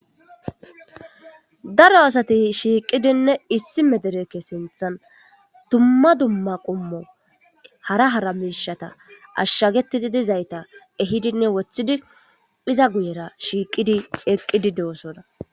daro asati shiiqidinne issi mederekke sinthan dumma dumma qommo hara hara mishata ashshagetidi dizayta ehidinne wothidi iza guyera shiiqidi eqqidi dosona